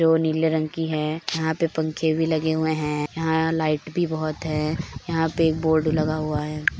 जो नीले रंग की है यहाँ पे पंखे भी लगे हुए है यहां लाइट भी बहुत है यहाँ पे एक बोर्ड लगा हुआ है।